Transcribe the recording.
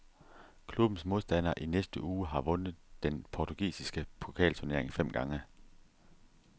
Klubbens modstander i næste uge har vundet den portugisiske pokalturnering fem gange.